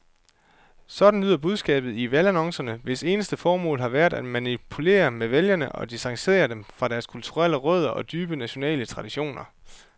Sådan lyder budskabet i valgannoncerne, hvis eneste formål har været at manipulere med vælgere og distancere dem fra deres kulturelle rødder og dybe nationale traditioner.